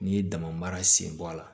N'i ye dama sen bɔ a la